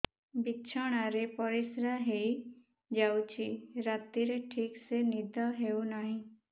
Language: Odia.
ବିଛଣା ରେ ପରିଶ୍ରା ହେଇ ଯାଉଛି ରାତିରେ ଠିକ ସେ ନିଦ ହେଉନାହିଁ